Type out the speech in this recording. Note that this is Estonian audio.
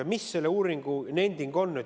Ja mis selle uuringu nending on?